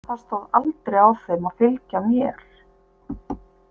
Það stóð aldrei á þeim að fylgja mér.